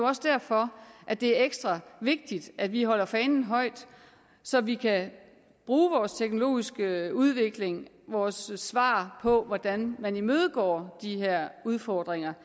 også derfor at det er ekstra vigtigt at vi holder fanen højt så vi kan bruge vores teknologiske udvikling vores svar på hvordan man imødegår de her udfordringer